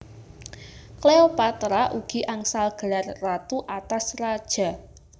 Cleopatra ugi angsal gelar Ratu atas Raja